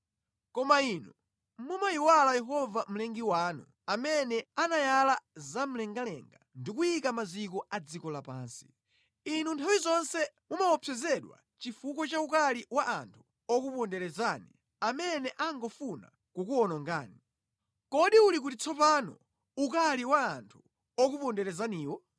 Koma inu mumayiwala Yehova Mlengi wanu, amene anayala za mlengalenga ndi kuyika maziko a dziko lapansi. Inu nthawi zonse mumaopsezedwa chifukwa cha ukali wa anthu okuponderezani amene angofuna kukuwonongani. Kodi uli kuti tsopano ukali wa anthu okuponderezaniwo?